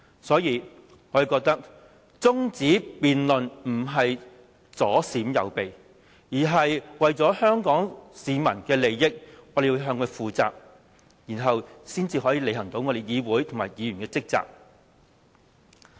所以，我們認為中止辯論並不是左閃右避，而是為了香港市民的利益，我們要向市民負責，然後才能履行議會和議員的職責。